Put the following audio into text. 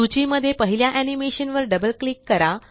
सूची मध्ये पहिल्या एनीमेशन वर डबल क्लिक करा